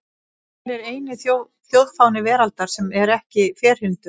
Hver er eini þjóðfáni veraldar sem er ekki ferhyrndur?